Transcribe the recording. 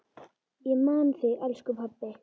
Ég man þig, elsku pabbi.